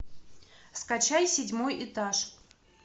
скачай седьмой этаж